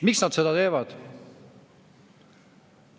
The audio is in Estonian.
Miks nad seda teevad?